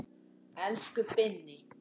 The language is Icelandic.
Elsku Binni.